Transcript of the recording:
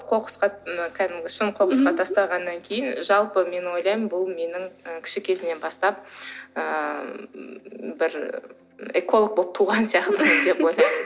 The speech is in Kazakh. қоқысқа кәдімгі шын қоқысқа тастағаннан кейін жалпы мен ойлаймын бұл менің кіші кезімнен бастап ыыы бір эколог болып туған сияқтымын деп ойлаймын